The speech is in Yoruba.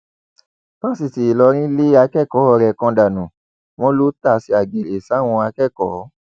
fásitì ìlọrin lé akẹkọọ rẹ kan dànù wọn lọ tàsé àgèrè sáwọn akẹkọọ